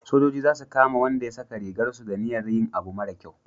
sojoji za su kama Wanda ya saka rigar su da niyar yin abu mara kyau